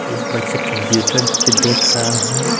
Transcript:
एक बच्चा कंप्यूटर पे देख रहा है।